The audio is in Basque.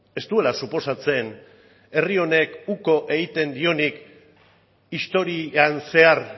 ez duela suposatzen herri honek uko egiten dionik historian zehar